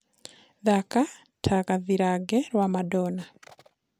thaka ta gathirange rwa madonna